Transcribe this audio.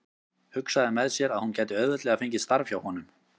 Hugsaði með sér að hún gæti auðveldlega fengið starf hjá honum.